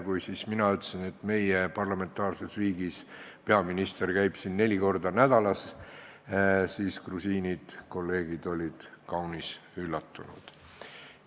Kui mina ütlesin, et meie parlamentaarses riigis käib peaminister siin neli korda kuus, siis grusiinid, kolleegid, olid kaunis üllatunud.